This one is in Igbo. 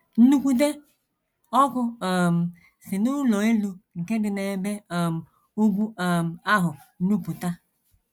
Nnukwute ọkụ um si n’ụlọ elu nke dị n’ebe um ugwu um ahụ nupụta.